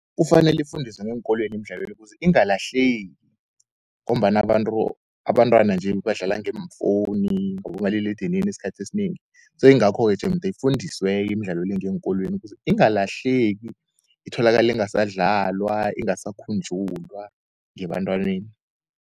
Kufanele ifundiswe ngeenkolweni emidlalweni le. Ukuze ingalahleki, ngombana abantwana nje, badlala ngeefowuni ngabomaliledinini eskhathini esinengi. Yingakho-ke jemde ifundiswe-ke imidlalo le, ngeenkolweni kuze ingalahleki, itholakali ingasadlalwa, ingasakhunjulwa ngebantwaneni.